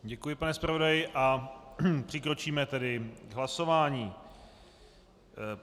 Děkuji, pane zpravodaji a přikročíme tedy k hlasování.